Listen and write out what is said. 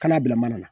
Kana bila mana na